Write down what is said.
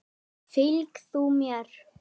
Fylg þú mér.